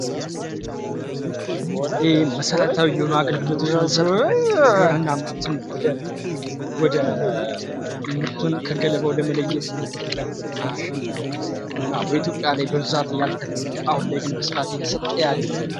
ይህ መሰረታዊ የሆነ አገልግሎት ሲሆን ሰብልና ምርትን ከገለበው የምንለይበት ማሽን ነው በብዛት ያልተለመደ አሁን ላይ በስፋት የሚሰጥ አገልግሎት ነው።